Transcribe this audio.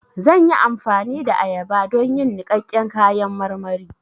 Zan yi amfani da ayaba don yin niƙaƙƙen kayan marmari